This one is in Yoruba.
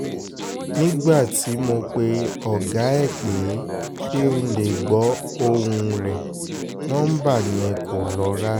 nígbà tí mo pe ọ̀gá ẹ̀ pé kí n lè gbọ́ ohùn rẹ̀ nọmba yẹn kò lọ rárá